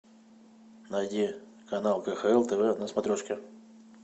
найди канал кхл тв на смотрешке